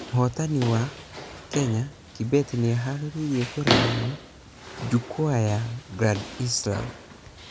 Mũhotani wa...kenya kibet nĩĩhareirie kũrarama jukwaa ya grand slam.